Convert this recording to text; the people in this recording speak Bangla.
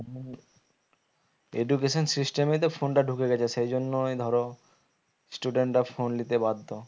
Education system ই তো phone টা ঢুকে গেছে সেই জন্যই ধরো student রা phone লিতে বাধ্য